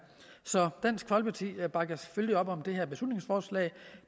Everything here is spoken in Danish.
så dansk folkeparti bakker selvfølgelig op om det her beslutningsforslag